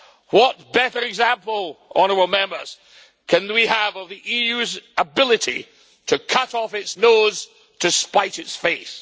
What better example, honourable Members, can we have of the EU's ability to cut off its nose to spite its face.